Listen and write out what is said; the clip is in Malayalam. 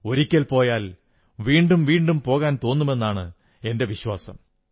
ഒരിക്കൽ പോയാൽ വീണ്ടും വീണ്ടും പോകാൻ തോന്നുമെന്നാണ് എന്റെ വിശ്വാസം